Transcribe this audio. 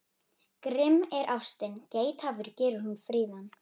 Grimm er ástin, geithafur gerir hún fríðan.